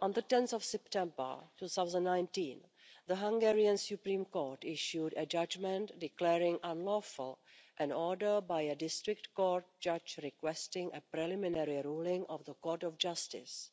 On 10 September 2019, the Hungarian Supreme Court issued a judgment declaring unlawful an order by a district court judge requesting a preliminary ruling of the Court of Justice.